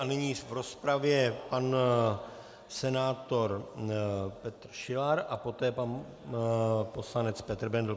A nyní v rozpravě pan senátor Petr Šilar a poté pan poslanec Petr Bendl.